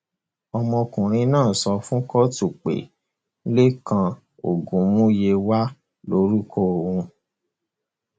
ọmọkùnrin náà sọ fún kóòtù pé lẹkan ogunmúyẹwà lorúkọ òun